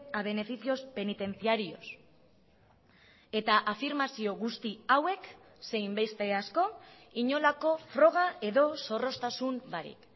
a beneficios penitenciarios eta afirmazio guzti hauek zein beste asko inolako froga edo zorroztasun barik